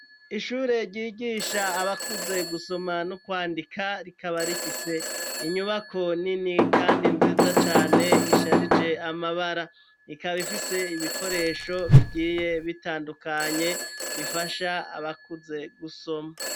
Ishure, ryigisha abakuze, gusoma no kwandika, rikaba rifise inyubako nini, kandi nziza cane, isharije amabara; ikaba ifise ibikoresho, bigiye bitandukanye, bifasha abakuze, gusoma.